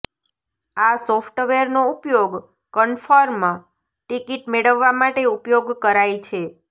આ સોફ્ટવેરનો ઉપયોગ કન્ફર્મ ટિકિટ મેળવવા માટે ઉપયોગ કરાઇ છે